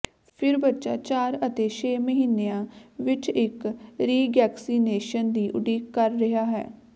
ਫਿਰ ਬੱਚਾ ਚਾਰ ਅਤੇ ਛੇ ਮਹੀਨਿਆਂ ਵਿਚ ਇਕ ਰੀਗੈਕਸੀਨੇਸ਼ਨ ਦੀ ਉਡੀਕ ਕਰ ਰਿਹਾ ਹੈ